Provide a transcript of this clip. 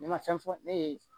Ne ma fɛn fɔ ne ye